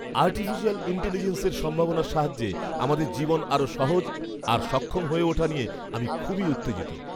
Artificial ইন্টেলিজেন্সের সম্ভাবনার সাহায্যে আমাদের জীবন আরও সহজ আর সক্ষম হয়ে ওঠা নিয়ে আমি খুবই উত্তেজিত।